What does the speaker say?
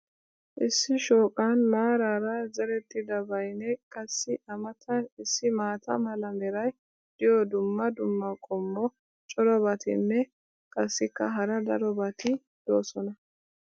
Issi shooqqan maaraara zerettidabaynne qassi A matan issi maata mala meray diyo dumma dumma qommo corabatinne qassikka hara darobatti doosona.